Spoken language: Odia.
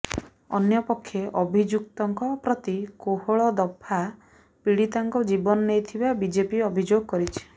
ଅନ୍ୟପକ୍ଷେ ଅଭିଯୁକ୍ତଙ୍କ ପ୍ରତି କୋହଳ ଦଫା ପୀଡ଼ିତାଙ୍କ ଜୀବନ ନେଇଥିବା ବିଜେପି ଅଭିଯୋଗ କରିଛି